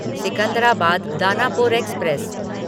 Secunderabad Danapur express